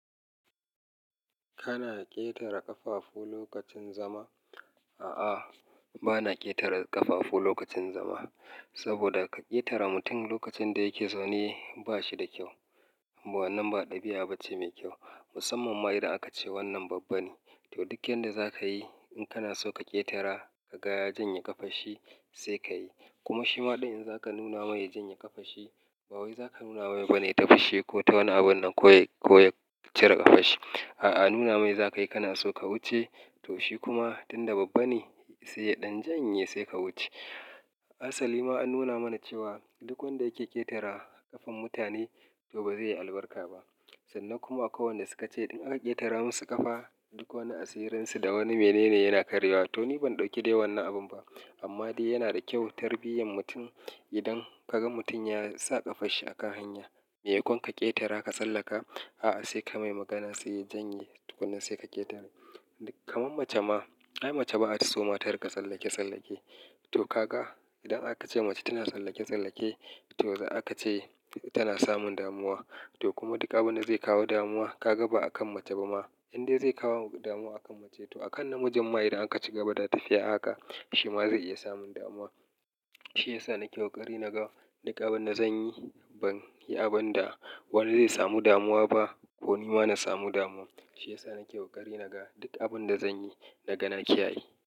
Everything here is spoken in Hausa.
Kana ƙetare ƙafafu lokacin zama? A'a, bana ƙetare ƙafafu lokacin zama. Saboda ka ƙetare mutum lokacin da yake zaune ba shi da kyau. Amma wannan ba ɗabi'a bace mai kyau. Musamman ma idan aka ce wannan babba ne. To duk yanda za ka yi, in kana so ka ƙetara ka ga ya janye ƙafarshi sai ka yi. Kuma shi ma din in za ka nuna mai ya janye ƙafanshi, ba wai za ka nuna mai bane ta fishi ko ta wani abunnan ko ya cire ƙafarshi. A'a, nuna mai za ka yi kana so ka wuce. To shi kuma tunda babba ne sai ya ɗan janye sai ka wuce. Asali ma an nuna mana cewa duk wanda yake ƙetara ƙafan mutane to ba zai yi albarka ba. Sannan kuma akwai wanda suka ce duk wadda ya ƙetara mu su ƙafa, duk wani asirinsu da wani mene ne yana karyewa. To ni ban ɗauki dai wannan abun ba. Amma dai yana da kyau tarbiyyan mutum idan kaga mutum ya sa ƙafarshi akan hanya. Me yakon ka ƙetara ka sallaka? A'a sai ka mai magana sai ya janye tukunna sai ka ƙetare. Kaman mace ma, ai mace ba a so ma tarika tsallake tsallake. To ka ga idan aka ce mace tana tsallake tsallake to za a ce tana samun damuwa. To kuma duk abin da zai kawo damuwa ka ga ba akan mace ba ma. Inde zai kawo damuwa akan mace to akan namijin ma idan aka ci gaba da tafiya haka shi ma zai iya samun damuwa. Shi yasa na ke kokari naga duk abin da zan yi. Ban yi abin da wani zai samu damuwa ba ko ni ma na samu damuwa. Shi yasa na kewa kare naga duk abin da zan yi. Naga na kiyaye.